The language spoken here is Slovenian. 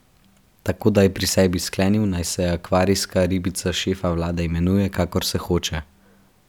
Tako da je pri sebi sklenil, naj se akvarijska ribica šefa vlade imenuje, kakor se hoče.